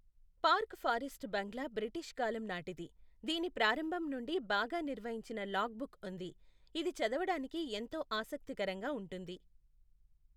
Park forest bungalow British కాలం నాటిది, దీని ప్రారంభం నుండి బాగా నిర్వహించిన లాగ్ బుక్ ఉంది, ఇది చదవడానికి ఎంతో ఆసక్తికరంగా ఉంటుంది.